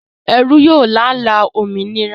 Ẹrú yóò lála òmìnira